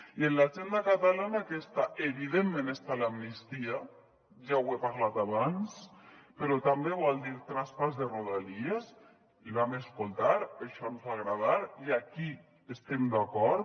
i en l’agenda catalana què està evidentment està l’amnistia ja ho he parlat abans però també vol dir traspàs de rodalies el vam escoltar això ens va agradar i aquí hi estem d’acord